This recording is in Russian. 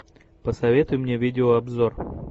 посоветуй мне видеообзор